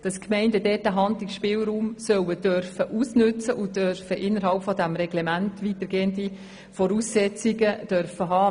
Die Gemeinden sollen den Handlungsspielraum ausnützen dürfen und innerhalb ihrer Reglemente Spielraum haben.